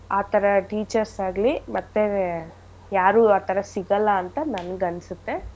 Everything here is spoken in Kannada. ಆಥರ teachers ಆಗ್ಲಿ ಮತ್ತೇ ಯಾರೂ ಆಥರ ಸಿಗಲ್ಲ ಅಂತ ನನ್ಗ್ ಅನ್ಸುತ್ತೆ.